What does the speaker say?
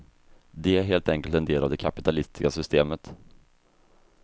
De är helt enkelt en del av det kapitalistiska systemet.